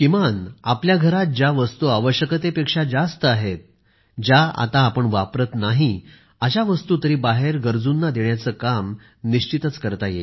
किमान आपल्या घरात ज्या वस्तू आवश्यकतेपेक्षा जास्त आहेत ज्या आता आपण वापरत नाही अशा वस्तू तरी बाहेर गरजूंना देण्याचे काम निश्चितच करावे